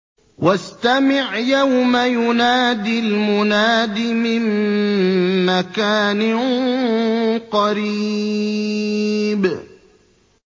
وَاسْتَمِعْ يَوْمَ يُنَادِ الْمُنَادِ مِن مَّكَانٍ قَرِيبٍ